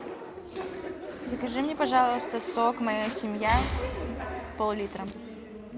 закажи мне пожалуйста сок моя семья пол литра